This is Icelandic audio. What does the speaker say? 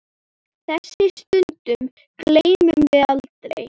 Þessum stundum gleymum við aldrei.